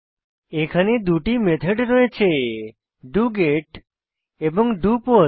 এখানে দুটি মেথড রয়েছে ডগেট এবং ডোপোস্ট